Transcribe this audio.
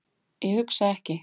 Ég hugsa ekki.